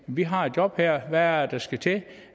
vi har et job her hvad er det der skal til